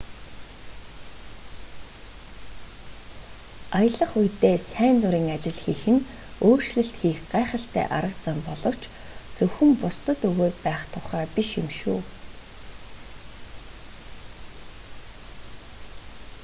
аялах үедээ сайн дурын ажил хийх нь өөрчлөлт хийх гайхалтай арга зам боловч зөвхөн бусдад өгөөд байх тухай биш юм шүү